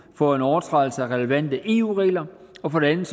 for en overtrædelse af relevante eu regler og for det andet